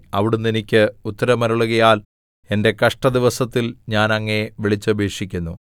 അവിടുന്ന് എനിക്ക് ഉത്തരമരുളുകയാൽ എന്റെ കഷ്ടദിവസത്തിൽ ഞാൻ അങ്ങയെ വിളിച്ചപേക്ഷിക്കുന്നു